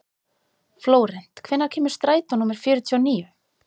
Flórent, hvenær kemur strætó númer fjörutíu og níu?